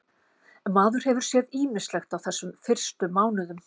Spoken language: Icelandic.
Maður hefur séð ýmislegt á þessum fyrstu mánuðum.